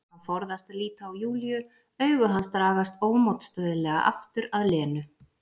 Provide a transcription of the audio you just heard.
Hann forðast að líta á Júlíu, augu hans dragast ómótstæðilega aftur að Lenu.